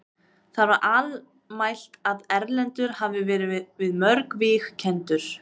Það var almælt að Erlendur hafði verið við mörg víg kenndur.